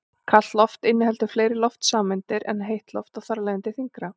Kalt loft inniheldur fleiri loftsameindir en heitt loft og er þar af leiðandi þyngra.